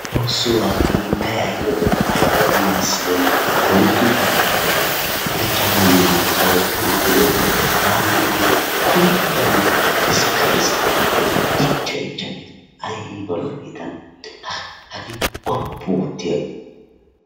Xoosso hagee hiittay ayba lo"ii ayba giigisidoonaa! Oyddu baggaara de'iyaagee ichchanawu maachchayees. Tana a be'iyoode anan kunddanee xiskka xiskka gees ichcha ichcha gees. Ayiba lo"ii hagee wooppu oottiyaagee.